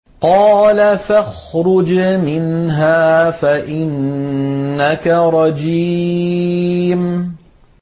قَالَ فَاخْرُجْ مِنْهَا فَإِنَّكَ رَجِيمٌ